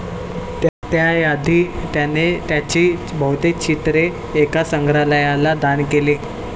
त्याआधी त्याने त्याची बहुतेक चित्रे एका संग्रहालयाला दान केली.